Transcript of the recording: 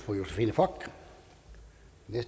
for